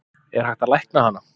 Er hægt að lækna hana?